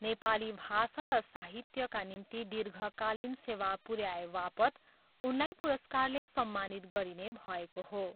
नेपाली भाषा र साहित्यका निम्ति दीर्घकालिन सेवा पुराएवापत् उनलाई पुरस्कारले सम्मानित गरिने भएको हो।